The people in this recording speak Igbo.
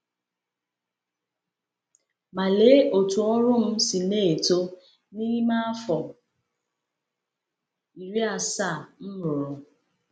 Ma lee otú ọrụ m si eto n’ime afọ iri asaa m rụọrọ!